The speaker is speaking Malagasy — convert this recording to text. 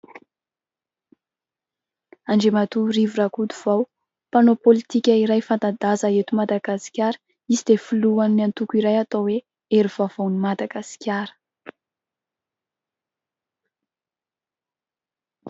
andriamatoa Rivo Rakotovao, mpanao politika iray fanta-daza eto madagasikara ; izy dia filohan'ny antoko iray atao hoe :"hery vaovao ny Madagasikara"